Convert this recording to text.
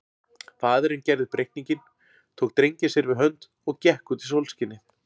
Faðirinn gerði upp reikninginn, tók drenginn sér við hönd og gekk út í sólskinið.